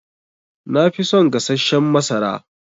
Nafi son gassashen masara.